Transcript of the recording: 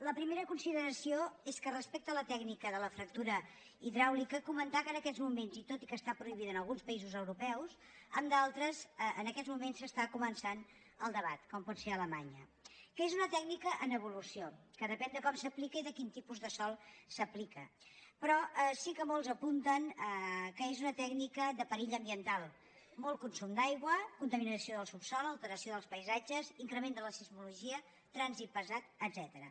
la primera consideració és que respecte a la tècnica de la fractura hidràulica comentar que en aquests moments i tot i que està prohibida en alguns països europeus en d’altres en aquests moments s’està començant el debat com pot ser alemanya que és una tècnica en evolució que depèn de com s’aplica i a quin tipus de sòl s’aplica però sí que molts apunten que és una tècnica de perill ambiental molt consum d’aigua contaminació del subsòl alteració dels paisatges increment de la sismologia trànsit pesant etcètera